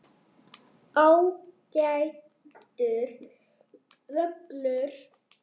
Ágætur völlur.